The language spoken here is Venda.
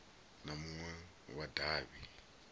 na munwe wa davhi u